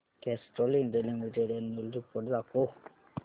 Castrol India limited annual report दाखव